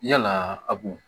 Yalaa a b'o